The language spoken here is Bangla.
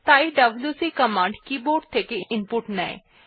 তাই ডব্লিউসি কিবোর্ড থেকে ইনপুট নেয়